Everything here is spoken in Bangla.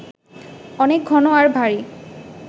অনেক ঘন আর ভারি